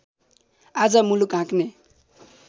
आज मुलुक हाँक्ने